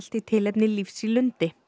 í tilefni lífs í lundi